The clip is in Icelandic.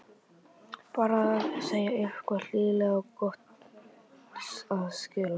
Bara segja eitthvað hlýlegt og gott að skilnaði.